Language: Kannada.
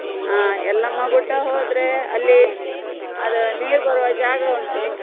ಹಾ Yellamma Gudda ಹೋದ್ರೆ ಅಲ್ಲಿ, ಅದು ನೀರ್ ಬರುವ ಜಾಗ ಉಂಟು.